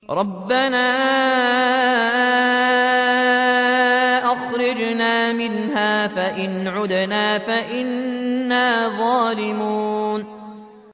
رَبَّنَا أَخْرِجْنَا مِنْهَا فَإِنْ عُدْنَا فَإِنَّا ظَالِمُونَ